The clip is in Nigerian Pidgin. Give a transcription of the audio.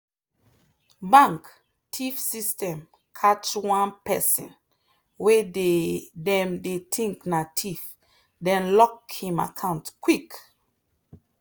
bank theif system catch one person way them dey think na theif dem lock him account quick.